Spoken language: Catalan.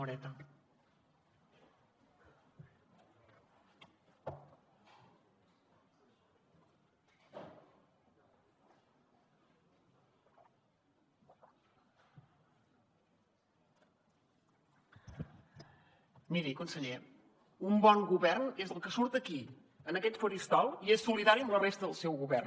miri conseller un bon govern és el que surt aquí en aquest faristol i és solidari amb la resta del seu govern